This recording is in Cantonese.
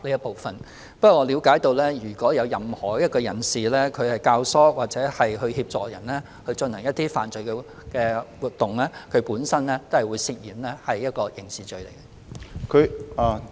不過，據我了解，如有任何人教唆或協助他人進行犯罪活動，他本身亦會涉嫌觸犯刑事罪行。